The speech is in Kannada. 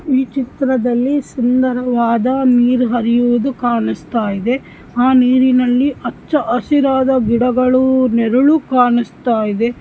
ಈ ಚಿತ್ರದಲ್ಲಿ ಸುಂದರವಾದ ನೀರು ಹರಿಯುವುದು ಕಾನಿಸ್ತಾ ಇದೆ ಆ ನೀರಿ ನಲ್ಲಿ ಹೆಚ್ಚು ಹಸಿರಾದ ಗಿಡಗಳು ನೆರಳು ಕಾನಿಸ್ತಾಇದೆ.